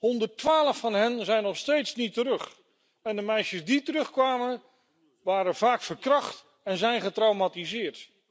112 van hen zijn nog steeds niet terug en de meisjes die terugkwamen, waren vaak verkracht en zijn getraumatiseerd.